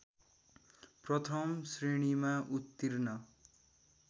प्रथम श्रेणीमा उत्तीर्ण